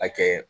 A kɛ